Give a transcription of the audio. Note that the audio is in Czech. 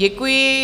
Děkuji.